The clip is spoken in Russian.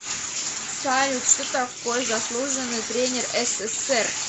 салют что такое заслуженный тренер ссср